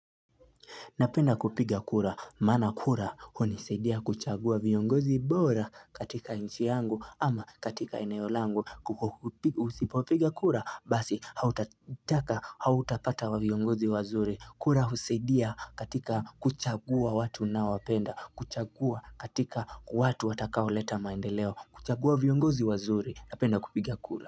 Napenda kupiga kura, maana kura hunisadia kuchagua viongozi bora katika nchi yangu ama katika eneo langu. Usipopiga kura, basi hautataka hautapata viongozi wazuri. Kura husaidia katika kuchagua watu ninaowapenda, kuchagua katika watu watakao leta maendeleo, kuchagua viongozi wazuri, napenda kupiga kura.